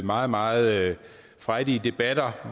meget meget frejdige debatter